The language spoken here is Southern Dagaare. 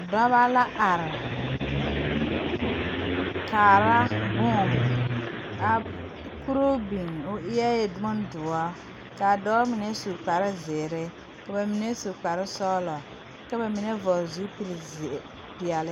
Dɔba la are kaara bone a kuruu biŋ o eɛ bondoɔ ka a dɔɔ mine su kpare zeere ka ba mine su kparesɔglɔ ka ba mine vɔgle zupili zeere peɛle.